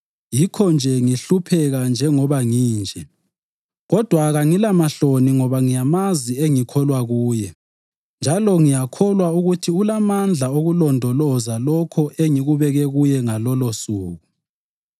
Yikho-nje ngihlupheka njengoba nginje. Kodwa kangilanhloni ngoba ngiyamazi engikholwa kuye njalo ngiyakholwa ukuthi ulamandla okulondoloza lokho engikubeke kuye ngalolosuku.